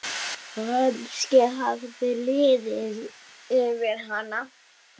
Kannski hafði liðið yfir hana.